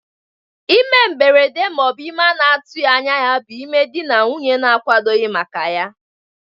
Ime mgberede ma ọ bụ ime a na-atụghị anya ya bụ ime dị na nwunye na-akwadoghi maka ya.